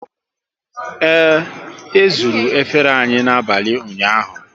Ee, e zuru efere anyị n'abalị ụnyaahụ